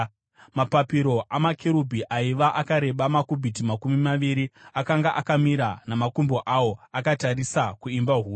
Mapapiro amakerubhi aiva akareba makubhiti makumi maviri. Akanga akamira namakumbo awo, akatarisa kuimba huru.